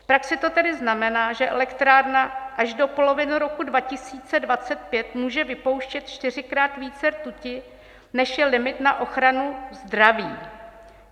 V praxi to tedy znamená, že elektrárna až do poloviny roku 2025 může vypouštět čtyřikrát více rtuti, než je limit na ochranu zdraví.